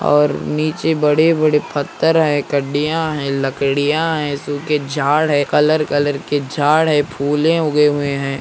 और नीचे बड़े-बड़े पत्थर है कड़ियां है लकडिया है सुख झाड़ है कलर कलर के झाड़ है पहले उगे हुए हैं|